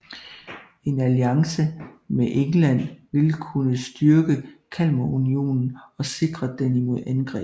En alliance med England vil kunne styrke Kalmarunionen og sikre den mod angreb